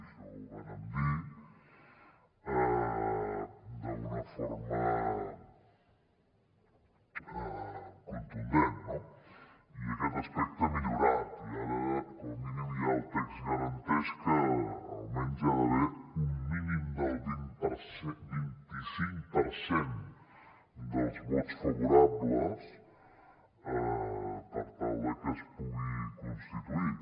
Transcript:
això ho vàrem dir d’una forma contundent no i aquest aspecte ha millorat i ara com a mínim el text garanteix que almenys hi ha d’haver un mínim del vint cinc per cent dels vots favorables per tal de que es pugui constituir